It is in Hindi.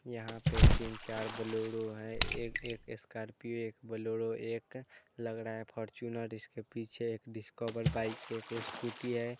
यहा पे तीन चार बूलोड़ो है एक एक स्कार्पियो एक बूलोड़ो एक लग रहा है फोरचूनर इस के पीछे पीछे एक डिस्कवर बाइक एक स्कूटी है।